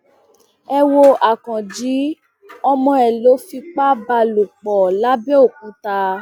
ẹ wo akànji ọmọ ẹ ló fipá bá lò pọ làbẹòkúta